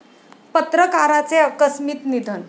पत्रकाराचे आकस्मित निधन